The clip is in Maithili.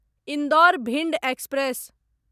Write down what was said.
इन्दौर भिंड एक्सप्रेस